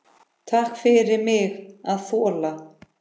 Takk fyrir mig að þola.